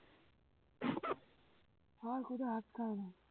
হয় খোদা আটকায় না